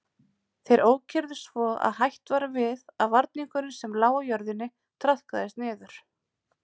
Þeir ókyrrðust svo að hætt var við að varningurinn sem lá á jörðinni traðkaðist niður.